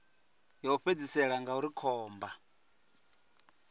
ya u fhedzisela ngauri khomba